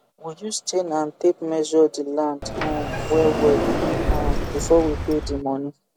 we use chain and tape measure the land um wellwell um before we pay di money